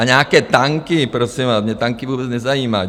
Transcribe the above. A nějaké tanky, prosím vás, mě tanky vůbec nezajímají...